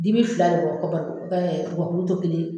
Dimi fila bɛ bɔ ka gakuru to kelen yen.